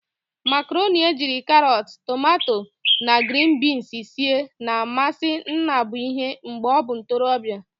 Makaroni ejiri karot, tomato na grin binz sie na-amasi Nnabuihe mgbe o bu ntorobia.